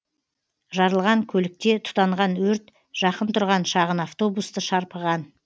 жарылған көлікте тұтанған өрт жақын тұрған шағын автобусты шарпыған